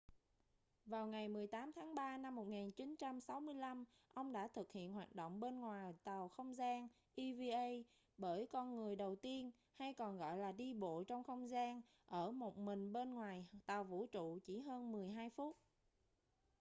vào ngày 18 tháng 3 năm 1965 ông đã thực hiện hoạt động bên ngoài tàu không gian eva bởi con người đầu tiên hay còn gọi là đi bộ trong không gian ở một mình bên ngoài tàu vũ trụ chỉ hơn mười hai phút